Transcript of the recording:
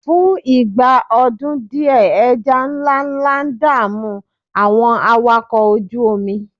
fún ìgbà ọdún diẹ eja nlánlá da'mu àwọn awakọ oju omi